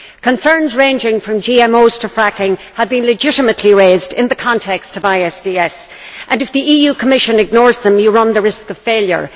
Concerns ranging from GMOs to fracking have been legitimately raised in the context of ISDS, and if the Commission ignores them you run the risk of failure.